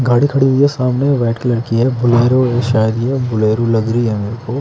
गाड़ी खड़ी हुई है सामने वाइट कलर की है बोलेरो है शायद ये बोलेरो लग रही है मेरेको।